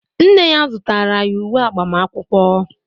nne ya zụtara ya uwe agbamakwụkwọ